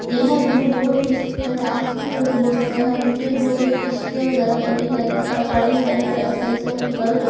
यह व्यू बहोत ही सुंदर है आसमान का भी तो बहोत सुंदर है और नीचे बहोत सारी किश्तियां वगैरह पड़ी है नीचे सारा पानी भी पड़ी है ऐसा जैसे यहां पे बर्फ --